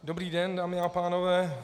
Dobrý den, dámy a pánové.